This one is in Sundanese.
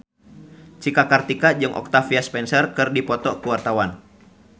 Cika Kartika jeung Octavia Spencer keur dipoto ku wartawan